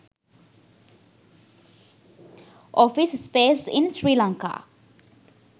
office space in sri lanka